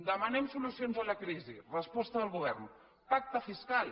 demanem solucions a la crisi resposta del govern pacte fiscal